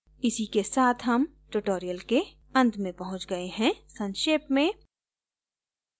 इसी के साथ हम tutorial के अंत में पहुँच गए हैं संक्षेप में